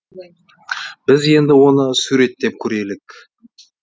біз енді оны суреттеп көрелік